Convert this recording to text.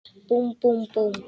Búmm, búmm, búmm.